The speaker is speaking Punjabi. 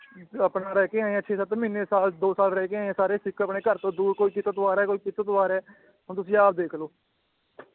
ਆਪਣਾ ਰਹਿ ਕੇ ਆਏ ਆ ਇਥੇ ਸੱਤ ਮਹੀਨੇ ਸਾਲ ਦੋ ਸਾਲ ਰਹਿ ਕੇ ਆਏ ਏ ਸਾਰੇ ਸਿੱਖ ਆਪਣੇ ਘਰ ਤੋਂ ਦੂਰ ਕੋਈ ਕਿਤੋਂ ਤੋਂ ਆਰਿਆ ਏ ਕੋਈ ਕਿਤੋਂ ਤੋਂ ਆਰਿਆ ਏ ਹੁਣ ਤੁਸੀ ਆਪ ਦੇਖਲੋ